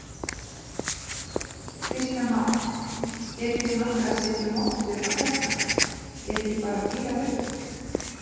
Kristján Már: Eruð þið nokkuð að setja mottur á þetta, er ekki bara fírað upp?